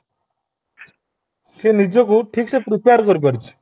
ସେ ନିଜକୁ ଠିକସେ prepare କରି ପାରୁଛି